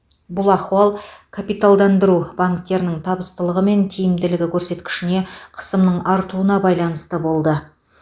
бұл ахуал капиталдандыру банктердің табыстылығы мен тиімділігі көрсеткішіне қысымның артуына байланысты болды